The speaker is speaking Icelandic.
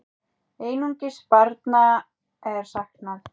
Einungis barna er saknað.